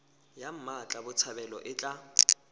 ya mmatla botshabelo e tla